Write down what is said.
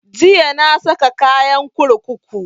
Jiya na saka kayan kurkuku